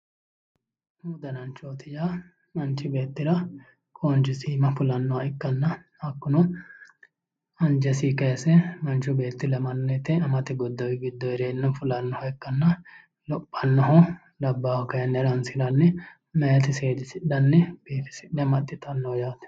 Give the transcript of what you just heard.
Umu danancho:-umu dananchooti yaa manchi beettira qoonchisi iima fulannoha ikkanna hakkuno anjesinni kayiise manchu beetti ilamanno woyiite amasi godowi giddo heereenna fullannoha ikkanna lophannohu labbaahu kaayinni haransiranni mayitti seedisidhanni biifise amaxitanno yaate.